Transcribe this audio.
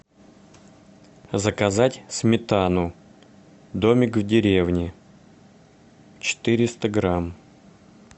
заказать сметану домик в деревне четыреста грамм